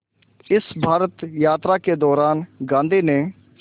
इस भारत यात्रा के दौरान गांधी ने